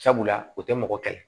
Sabula u tɛ mɔgɔ kɛlɛ